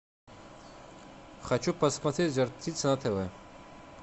хочу посмотреть жар птица на тв